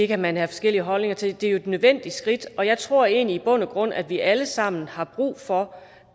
kan man have forskellige holdninger til det er jo et nødvendigt skridt og jeg tror egentlig i bund og grund at vi alle sammen har brug for